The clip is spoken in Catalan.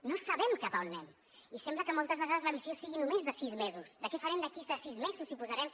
no sabem cap on anem i sembla que moltes vegades la visió sigui només de sis mesos de què farem d’aquí a sis mesos si posarem